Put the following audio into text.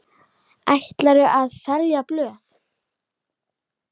Ætlarðu að selja blöð?